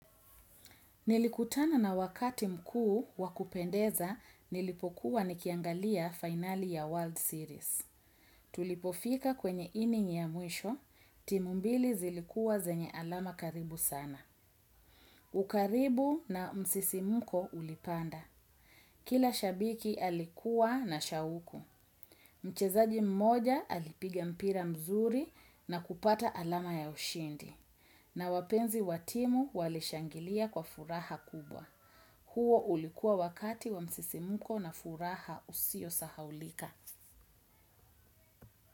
Nilikutana na wakati mkuu wakupendeza nilipokuwa nikiangalia finali ya World Series. Tulipofika kwenye ining ya mwisho, timu mbili zilikua zenye alama karibu sana. Ukaribu na msisimuko ulipanda. Kila shabiki alikuwa na shahuku. Mchezaji mmoja alipiga mpira mzuri na kupata alama ya ushindi. Na wapenzi wa timu walishangilia kwa furaha kubwa. Huo ulikua wakati wa msisimuko na furaha usio sahaulika.